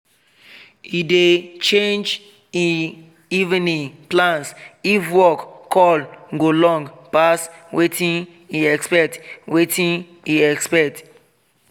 he dey change e evening plans if work call go long pass watin e expect watin e expect